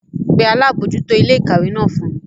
Pe Alabojuto ile-ikawe náà fun mi!